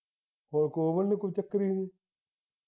ਕੋਈ ਚੱਕਰ ਨਹੀਂ